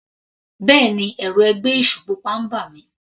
Bẹ́ẹ̀ni, ẹ̀rù ẹgbẹ́ èṣù pupa ń bà mí.